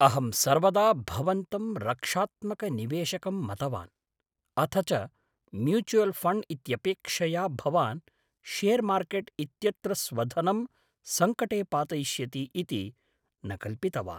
अहं सर्वदा भवन्तं रक्षात्मकनिवेशकम् मतवान्, अथ च म्यूचुयल् ऴण्ड् इत्यपेक्षया भवान् शेर् मार्केट् इत्यत्र स्वधनं सङ्कटे पातयिष्यति इति न कल्पितवान्।